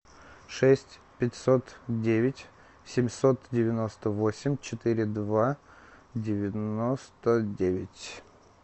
шесть пятьсот девять семьсот девяносто восемь четыре два девяносто девять